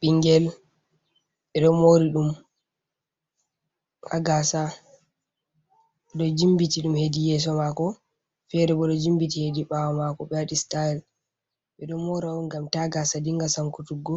Ɓingel ɓeɗo mori ɗum ha gaasa ɓeɗo jimpiti hedi yeso fere bo hedi ɓawo mako ɓe waɗi sitayel. Ɓeɗo mora on ngam ta gaasa dinga sankutugo